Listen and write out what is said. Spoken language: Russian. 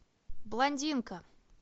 блондинка